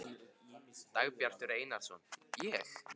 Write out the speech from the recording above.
Dagbjartur Einarsson: Ég?